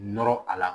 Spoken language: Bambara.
Nɔrɔ a la